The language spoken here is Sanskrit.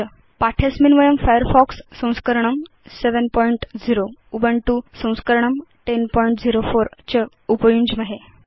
पाठे अस्मिन् वयं Firefox संस्करणं 70 Ubuntu संस्करणं 1004 च उपयुञ्ज्महे